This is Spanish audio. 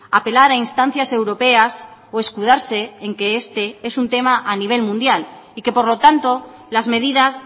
apelar a instancias europeas o escudarse en que este es un tema a nivel mundial y que por lo tanto las medidas